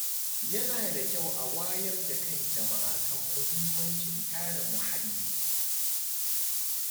Yana da kyau a wayar da kan jama’a kan muhimmancin kare muhalli.